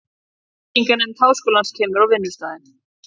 Byggingarnefnd háskólans kemur á vinnustaðinn.